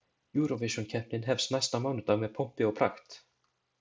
Eurovisionkeppnin hefst næsta mánudag með pompi og prakt.